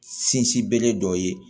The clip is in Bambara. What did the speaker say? Sinsin bere dɔ ye